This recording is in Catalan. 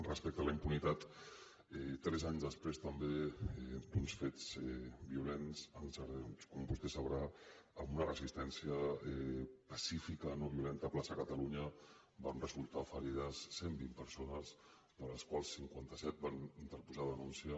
respecte a la impunitat tres anys després també d’uns fets violents com vostè deu saber amb una resistència pacífica no violenta a la plaça catalunya van resultar ferides cent vint persones de les quals cinquanta set van interposar denúncia